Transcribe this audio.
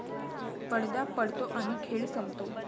पडदा पडतो आणि खेळ संपतो.